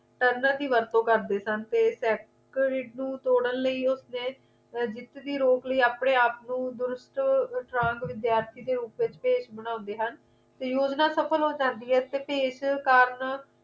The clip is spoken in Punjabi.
ਇਨ੍ਹਾਂ ਦੀ ਵਰਤੋਂ ਕਰਦੇ ਹਨ ਤੇ secrated ਨੂੰ ਤੋੜਨ ਲਈ ਉਸਨੇ ਅਰ ਜਿੱਤ ਦੀ ਰੋਕ ਲਈ ਆਪਣੇ ਆਪ ਨੂੰ ਦੁਰੂਸਤ strong ਵਿਦਿਆਰਥੀ ਦੀ ਉਪਜ ਤੇ ਭੇਸ ਬਣਾਉਂਦੇ ਹਨ ਤੇ ਯੋਜਨਾ ਅਸਫਲ ਹੋ ਜਾਂਦੀ ਹੈ ਤੇ ਭੇਸ ਕਾਰਨ